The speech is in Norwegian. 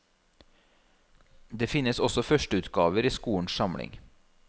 Det finnes også førsteutgaver i skolens samling.